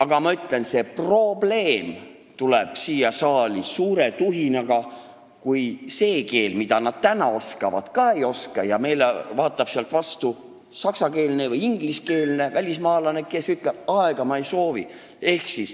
Aga ma ütlen: see probleem tuleb siia saali suure tuhinaga, kui meile vaatab sealt vastu saksakeelne või ingliskeelne välismaalane.